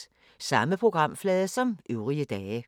Samme programflade som øvrige dage